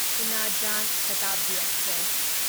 Una Jan Shatabdi express